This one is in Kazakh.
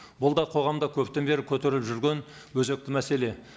бұл да қоғамда көптен бері көтеріліп жүрген өзекті мәселе